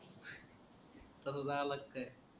तसंच आलाय का काय